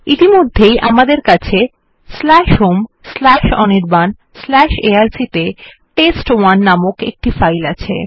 ইতিমধ্যে আমদের home Anirban arc ত়ে তেস্ত১ নামক একটি ফাইল নামে আছে